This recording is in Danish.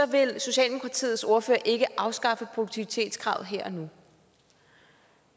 vil socialdemokratiets ordfører ikke afskaffe produktivitetskravet her og nu